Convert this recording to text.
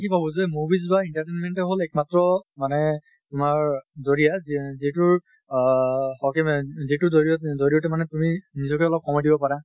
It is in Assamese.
কি ভাবো যে movies বা entertainment এ হʼল এক মাত্ৰ মানে তোমাৰ দৰিয়া যি যিটো আহ যিটো জৰিয়্ত জৰিয়তে মানে তুমি নিজ্কে অলপ সময় দিব পাৰা।